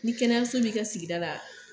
Ni kɛnɛyaso b'i ka sigida la